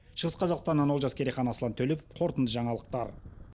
шығыс қазақстаннан олжас керейхан аслан төлепов қорытынды жаңалықтар